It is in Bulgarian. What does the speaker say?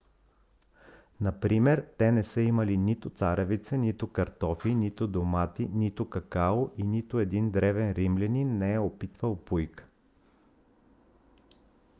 например те не са имали нито царевица нито картофи нито домати нито какао и нито един древен римлянин не е опитвал пуйка